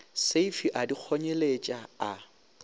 seifi a di kgonyeletša a